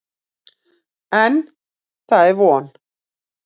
En, það er von!